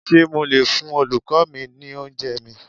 Ṣé mo lè fún Olùkọ́ọ mi ní oúnjẹẹ̀ mi?